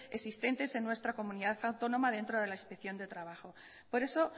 existentes en nuestra comunidad autónoma dentro de la inspección de trabajo por eso